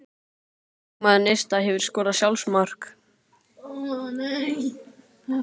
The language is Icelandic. Óskar leikmaður Neista Hefurðu skorað sjálfsmark?